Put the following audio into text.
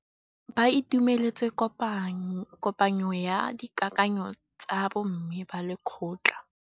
Ba itumeletse kôpanyo ya dikakanyô tsa bo mme ba lekgotla.